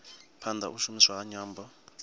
phanda u shumiswa ha nyambo